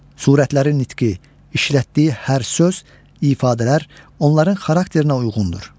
Surətlərin nitqi, işlətdiyi hər söz, ifadələr onların xarakterinə uyğundur.